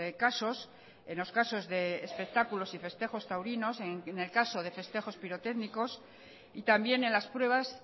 casos en los casos de espectáculos y festejos taurinos en el caso de festejos pirotécnicos y también en las pruebas